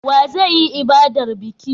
Wa zai yi ibadar biki?